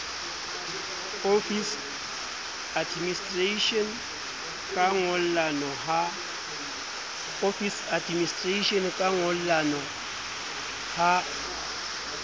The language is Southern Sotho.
office administration ka ngollano ha